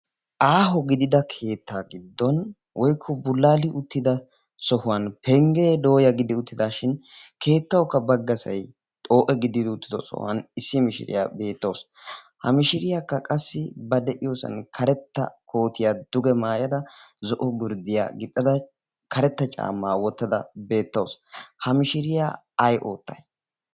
aaho gidida keettaa giddon woikko bulaali uttida sohuwan penggee dooya giddi uttidaashin keettaukka baggasai xoo7e giddidi uttido sohuwan issi mishiriyaa beettawsu. ha mishiriyaakka qassi ba de7iyoosan karetta kootiyaa duge maayada zo7o gurddiyaa gixxada karetta caammaa wottada beettawusu. ha mishiriyaa ai oottai?